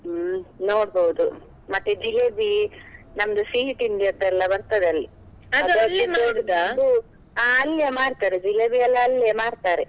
ಹ್ಮ್ ನೋಡ್ಬೋದು, ಮತ್ತೆ ಜಿಲೇಬಿ, ನಮ್ದು ಸಿಹಿತಿಂಡಿಯದೆಲ್ಲಾ ಬರ್ತದೆ ಅಲ್ಲಿ ಹ ಅಲ್ಲಿಯೇ ಮಾಡ್ತಾರೆ, ಜಿಲೇಬಿಯೆಲ್ಲಾ ಅಲ್ಲಿಯೇ ಮಾಡ್ತಾರೆ.